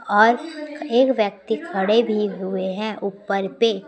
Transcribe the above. और एक व्यक्ति खड़े भी हुए हैं ऊपर पे--